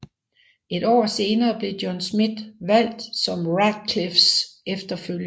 Et år senere blev John Smith valgt som Ratcliffes efterfølger